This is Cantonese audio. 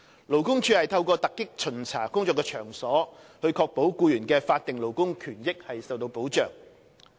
勞工處透過突擊巡查工作場所，以確保僱員的法定勞工權益受到保障。